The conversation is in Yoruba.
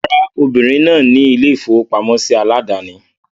Rárá, obìrin náà ni ilé-ìfowópamọ́sí aládàání.